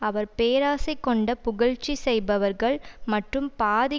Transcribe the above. அவர் பேராசை கொண்ட புகழ்ச்சி செய்பவர்கள் மற்றும் பாதி